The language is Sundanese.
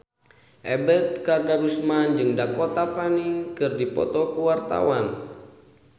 Ebet Kadarusman jeung Dakota Fanning keur dipoto ku wartawan